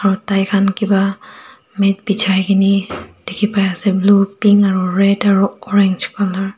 aru tai khan kiba mat bijai kene dikhi pai ase blue Pink aru red aru orange colour .